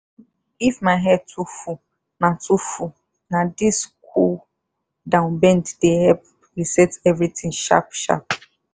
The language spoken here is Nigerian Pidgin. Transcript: if my head too full na too full na this cool-down bend dey help reset everything sharp-sharp.